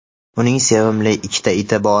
uning sevimli ikkita iti bor.